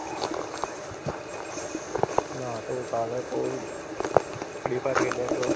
ਕੇ ਉਹ ਪਾਰ ਖੇਲਿਆ ਕਰੋ